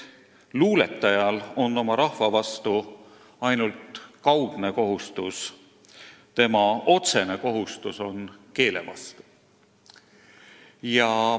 Luuletajal on oma rahva vastu ainult kaudne kohustus, tema otsene kohustus on keele vastu.